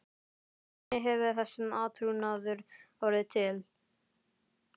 Þannig hefur þessi átrúnaður orðið til.